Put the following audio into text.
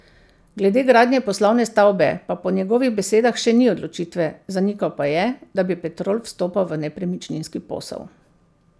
Glede gradnje poslovne stavbe pa po njegovih besedah še ni odločitve, zanikal pa je, da bi Petrol vstopal v nepremičninski posel.